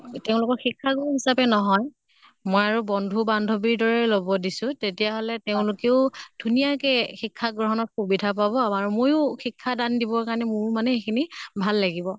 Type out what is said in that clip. তেওঁলোকৰ শিক্ষা গুৰু হিচাপে নহয়, মই আৰু বন্ধু বান্ধৱীৰ দৰে লʼব দিছো তেতিয়া হলে তেওঁলোকেও ধুনীয়াকে শিক্ষা গ্ৰহনত সুবিধা পাব আমাৰো ময়ো শিক্ষা দান দিবৰ কাৰণে মোৰ মানে সেই খিনি ভাল লাগিব।